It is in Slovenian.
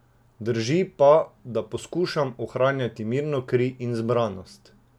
Drži pa, da poskušam ohranjati mirno kri in zbranost.